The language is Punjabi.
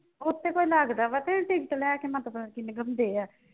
ਉੱਥੇ ਤਾਂ ਲੱਗਦਾ ਵਾ ਕਿ ticket ਲੈ ਕੇ ਮਤਲਬ ਲੰਘਾਉਂਦੇ ਆ।